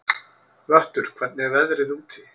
Vöttur, hvernig er veðrið úti?